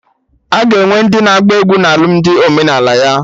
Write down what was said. Aga enwe ndị na-agba egwu na alụmdi omenala ya